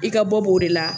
I ka bɔ b'o de la